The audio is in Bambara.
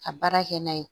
Ka baara kɛ n'a ye